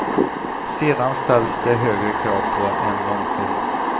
Sedan ställs det högre krav på en långfilm.